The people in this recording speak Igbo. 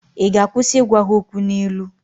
ị ga-akwụsị ịgwa ha okwu n'ilu?